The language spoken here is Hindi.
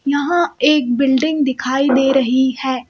यहां एक बिल्डिंग दिखाई दे रही है।